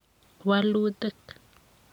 Walutik